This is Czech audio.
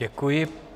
Děkuji.